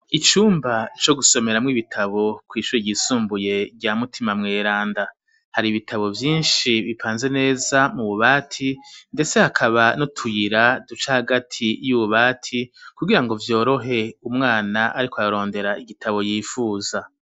Icumba co gusomera mu ibitabo ku ishure yisumbuye bya mutima mweranda hari ibitabo vyinshi bipanze neza mu bubati ndetse akaba n'utuyira duca hagati y'ububati kugira ngo vyorohe umwana ariko arondera igitabo yifuza.